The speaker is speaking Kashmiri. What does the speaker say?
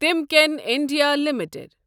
تِمکٮ۪ن انڈیا لِمِٹٕڈ